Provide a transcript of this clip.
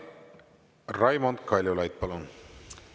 Raimond Kaljulaid, palun!